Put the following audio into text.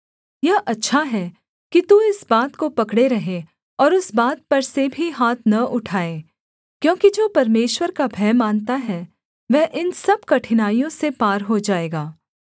यह अच्छा है कि तू इस बात को पकड़े रहे और उस बात पर से भी हाथ न उठाए क्योंकि जो परमेश्वर का भय मानता है वह इन सब कठिनाइयों से पार हो जाएगा